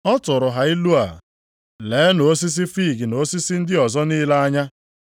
Ọ tụụrụ ha ilu a, “Leenụ osisi fiig na osisi ndị ọzọ niile anya.